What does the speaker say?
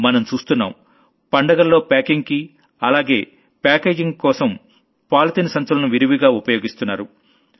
మనం చూస్తున్నాం పండుగల్లో packingకి అలాగే ప్యాకేజింగ్ కోసం పాలిథీన్ bagsని విరివిగా ఉపయోగిస్తున్నారు